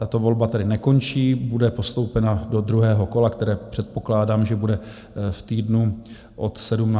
Tato volba tedy nekončí, bude postoupena do druhého kola, které předpokládám, že bude v týdnu od 17. dubna.